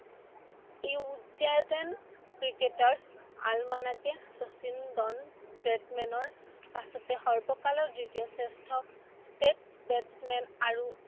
ক্ৰিকেটৰ আৰমানকে শচীন ডন ব্ৰেডমেনৰ পাছতে সৰ্বকালৰ দ্বিতীয় শ্ৰেষ্ঠ state batsman আৰু